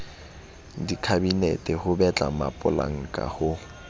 dikhabinete ho betla mapolanka ho